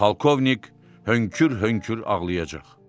Polkovnik hönkür-hönkür ağlayacaq.